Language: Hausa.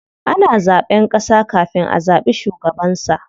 Ana zaɓen ƙasa kafin a zaɓi shugabansa.